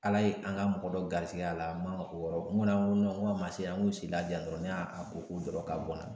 Ala ye an ka mɔgɔ dɔ garisigɛ a la, n man kɛ ko wɛrɛ nko n ko a ma se an k'u sigi la dɔrɔnw